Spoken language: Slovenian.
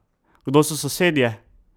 Kdo so sosedje?